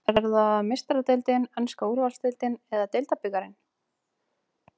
Er það Meistaradeildin, enska úrvalsdeildin eða deildarbikarinn?